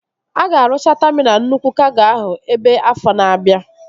A ga-arụcha taminal nnukwu kago ahụ ebe afọ na-abia